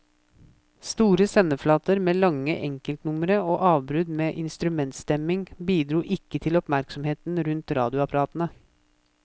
Store sendeflater med lange enkeltnumre og avbrudd med instrumentstemming, bidro ikke til oppmerksomheten rundt radioapparatene.